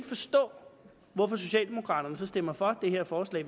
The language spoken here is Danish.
forstå hvorfor socialdemokraterne stemmer for det her forslag